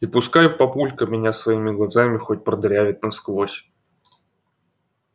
и пускай папулька меня своими глазами хоть продырявит насквозь